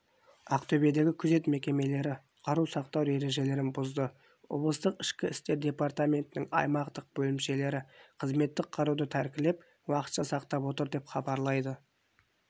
ақтөбедегі күзет мекемелері қару сақтау ережелерін бұзды облыстық ішкі істер департаментінің аймақтық бөлімшелері қызметтік қаруды тәркілеп уақытша сақтап отыр деп хабарлайды